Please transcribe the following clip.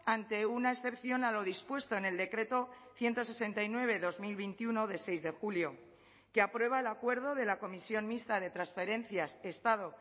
ante una excepción a lo dispuesto en el decreto ciento sesenta y nueve barra dos mil veintiuno de seis de julio que aprueba el acuerdo de la comisión mixta de transferencias estado